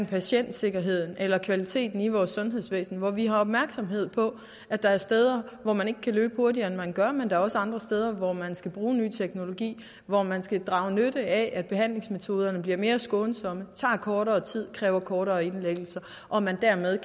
patientsikkerheden eller kvaliteten i vores sundhedsvæsen og hvor vi har opmærksomhed på at der er steder hvor man ikke kan løbe hurtigere end man gør men at der er andre steder hvor man skal bruge ny teknologi hvor man skal drage nytte af at behandlingsmetoderne bliver mere skånsomme tager kortere tid og kræver kortere indlæggelser og man dermed